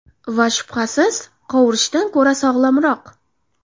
Va, shubhasiz, qovurishdan ko‘ra sog‘lomroq.